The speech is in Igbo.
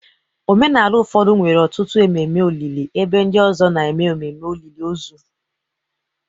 Omenala ụfọdụ nwere ọtụtụ ememe olili, ebe ndị ọzọ na-eme ememe olili ozu.